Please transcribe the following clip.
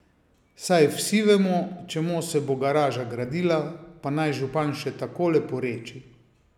Saj vsi vemo, čemu se bo garaža gradila pa naj župan še tako leporeči.